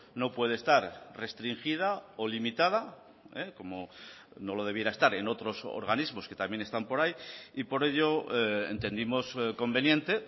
no puede estar restringida o limitada como no lo debiera estar en otros organismos que también están por ahí y por ello entendimos conveniente